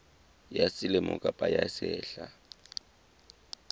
ya selemo kapa ya sehla